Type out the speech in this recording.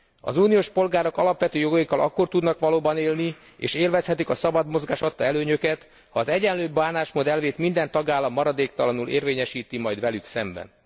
Az uniós polgárok alapvető jogaikkal akkor tudnak valóban élni, és akkor élvezhetik a szabad mozgás adta előnyöket, ha az egyenlő bánásmód elvét minden tagállam maradéktalanul érvényesíti majd velük szemben.